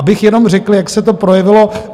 Abych jenom řekl, jak se to projevilo.